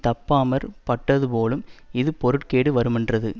தப்பாமற் பட்டதுபோலும் இது பொருட்கேடு வருமென்றது